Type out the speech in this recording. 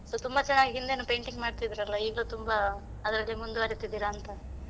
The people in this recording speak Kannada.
So ತುಂಬ ಚೆನ್ನಾಗಿ ಹಿಂದೆನೂ painting ಮಾಡ್ತಿದ್ರಲ್ಲ ಈಗ್ಲೂ ತುಂಬ, ಅದ್ರಲ್ಲೇ ಮುಂದುವರಿತ್ತಿದ್ದೀರಾ ಅಂತಾ?